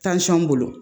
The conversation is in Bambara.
bolo